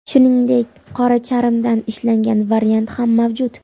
Shuningdek, qora charmdan ishlangan variant ham mavjud.